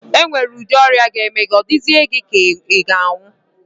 E nwere udi ọrịa ga-eme gị, ọ dịzịe gị ka ị nwụọ.